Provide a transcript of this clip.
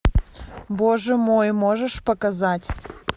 боже мой можешь показать